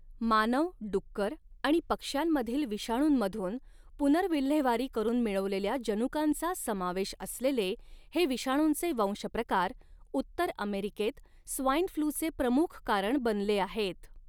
मानव, डुक्कर आणि पक्ष्यांमधील विषाणूंमधून, पुनर्विल्हेवारी करून मिळवलेल्या जनुकांचा समावेश असलेले हे विषाणूंचे वंशप्रकार, उत्तर अमेरिकेत स्वाइन फ्लूचे प्रमुख कारण बनले आहेत.